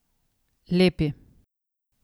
Lepi.